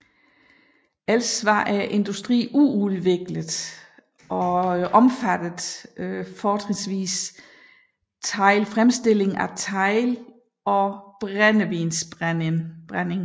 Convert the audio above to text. Ellers var industrien uudviklet og omfattede fortrinsvis teglfremstilling og brændevinsbrænding